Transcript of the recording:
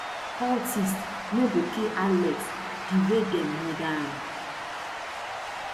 cultists no go kill alex di way dem murder am